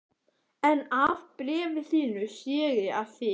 En af bréfi þínu sé ég að þið